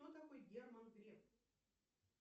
кто такой герман греф